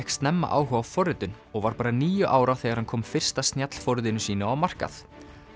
snemma áhuga á forritun og var bara níu ára þegar hann kom fyrsta snjallforritinu sínu á markað